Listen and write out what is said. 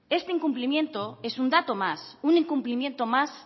este incumplimiento es un dato más un incumplimiento más